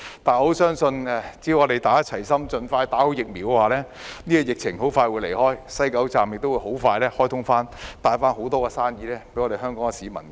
但我相信只要大家齊心，盡快接種疫苗，疫情很快便會退卻，西九龍站亦很快會重開，帶給香港市民很多生意。